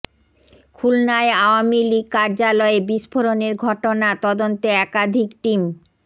খুলনায় আওয়ামী লীগ কার্যালয়ে বিস্ফোরণের ঘটনা তদন্তে একাধিক টিম